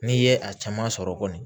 N'i ye a caman sɔrɔ kɔni